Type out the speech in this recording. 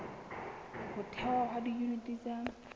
ho thehwa ha diyuniti tsa